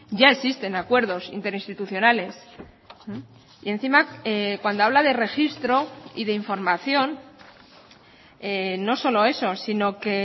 ya existen acuerdos interinstitucionales y encima cuando habla de registro y de información no solo eso sino que